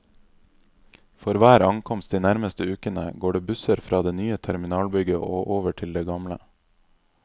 For hver ankomst de nærmeste ukene, går det busser fra det nye terminalbygget og over til det gamle.